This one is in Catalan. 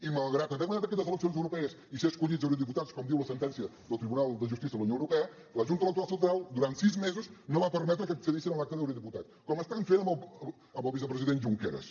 i malgrat haver guanyat aquestes eleccions europees i ser escollits eurodiputats com diu la sentència del tribunal de justícia de la unió europea la junta electoral central durant sis mesos no va permetre que accedissin a l’acta d’eurodiputat com estan fent amb el vicepresident junqueras